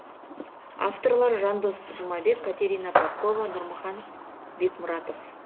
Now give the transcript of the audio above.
авторлары жандос жұмабек катерина попкова нұрмахан бекмұратов